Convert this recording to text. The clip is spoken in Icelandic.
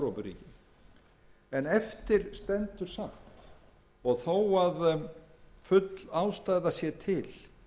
eftir stendur samt og þó að full ástæða sé til